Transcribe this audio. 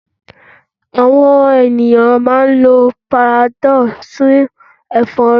Àwon ènìyàn máa n lo panadol fún èfórí